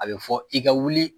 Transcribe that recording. A bɛ fɔ i ka wuli